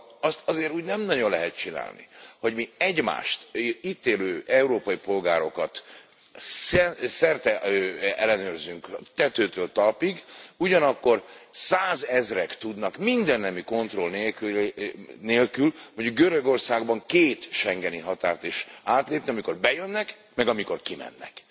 Szóval azt azért úgy nem nagyon lehet csinálni, hogy mi egymást, itt élő európai polgárokat szerte ellenőrzünk tetőtől talpig, ugyanakkor százezrek tudnak mindennemű kontroll nélkül, mondjuk Görögországban két schengeni határt is átlépni, amikor bejönnek, meg amikor kimennek.